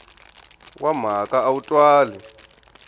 wa mhaka a wu twali